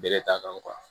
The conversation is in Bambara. Bɛlɛ t'a kan